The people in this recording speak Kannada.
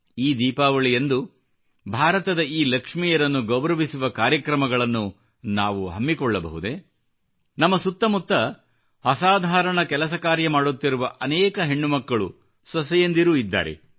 ಈ ದೀಪಾವಳಿಯಂದು ಭಾರತದ ಈ ಲಕ್ಷ್ಮಿಯರನ್ನು ಗೌರವಿಸುವ ಕಾರ್ಯಕ್ರಮಗಳನ್ನು ನಾವು ಹಮ್ಮಿಕೊಳ್ಳಬಹುದೇ ನಮ್ಮ ಸುತ್ತಮುತ್ತ ಅಸಾಧಾರಣ ಕೆಲಸ ಕಾರ್ಯ ಮಾಡುತ್ತಿರುವ ಅನೇಕ ಹೆಣ್ಣುಮಕ್ಕಳು ಸೊಸೆಯಂದಿರು ಇದ್ದಾರೆ